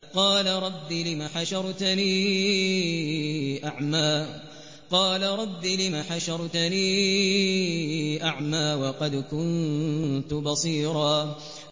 قَالَ رَبِّ لِمَ حَشَرْتَنِي أَعْمَىٰ وَقَدْ كُنتُ بَصِيرًا